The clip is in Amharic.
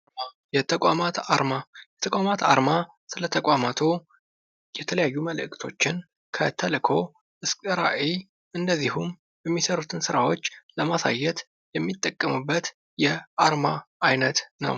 የተቋማት አርማ የተቋማት አርማ ስለ ተቋማቱ የተለያዩ መልክቶችን ከተልኮ እስከ ራእይ እንደዚሁም የሚሰሩትን ስራዎች ለማሳየት የሚጠቀሙበት የአርማ አይነት ነው::